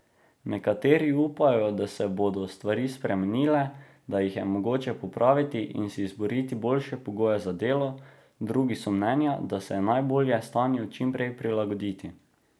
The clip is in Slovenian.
Nekateri upajo, da se bodo stvari spremenile, da jih je mogoče popraviti in si izboriti boljše pogoje za delo, drugi so mnenja, da se je najbolje stanju čim prej prilagoditi.